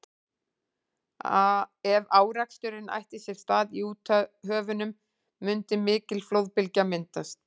ef áreksturinn ætti sér stað í úthöfunum mundi mikil flóðbylgja myndast